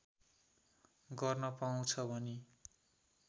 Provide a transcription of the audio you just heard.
गर्न पाउँछ भनी